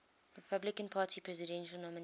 republican party presidential nominees